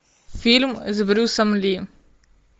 фильм с брюсом ли